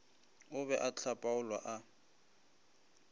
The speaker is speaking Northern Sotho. o be a hlapaolwa a